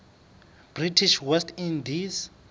british west indies